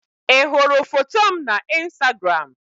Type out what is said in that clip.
Ị hụrụ foto m na Instagram?